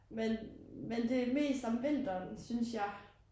Men men det mest om vinteren synes jeg